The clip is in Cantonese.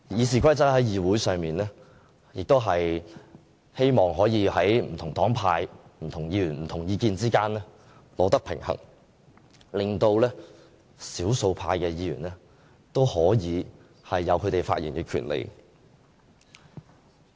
訂定這些規則是希望在議會上不同黨派、不同議員、不同意見之間取得平衡，令少數派議員都可以有發言權利。